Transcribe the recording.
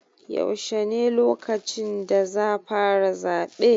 Yaushe ne lokacin da za fara zaɓe?